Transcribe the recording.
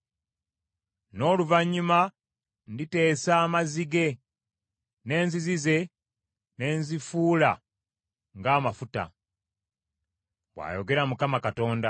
N’oluvannyuma nditeesa amazzi ge, n’enzizi ze ne nzifuula ng’amafuta, bw’ayogera Mukama Katonda.